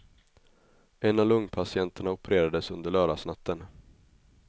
En av lungpatienterna opererades under lördagsnatten.